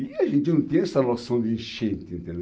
E a gente não tem essa noção de enchente, entendeu?